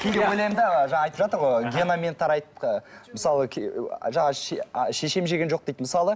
кейде ойлаймын да жаңа айтып жатыр ғой генамен тарайды мысалы шешем жеген жоқ дейді мысалы